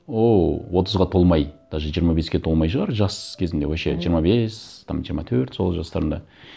ол отызға толмай даже жиырма беске толмай шығар жас кезімде вообще жиырма бес там жиырма төрт сол жастарымда